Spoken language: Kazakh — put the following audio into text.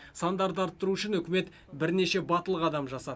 сандарды арттыру үшін үкімет бірнеше батыл қадам жасады